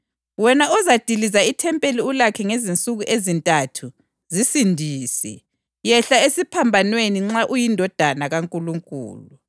“Wena ozadiliza ithempeli ulakhe ngezinsuku ezintathu, zisindise! Yehla esiphambanweni nxa uyiNdodana kaNkulunkulu!”